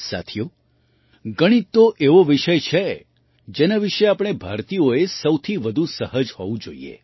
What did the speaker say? સાથીઓ ગણિત તો એવો વિષય છે જેના વિશે આપણે ભારતીયોએ સૌથી વધુ સહજ હોવું જોઈએ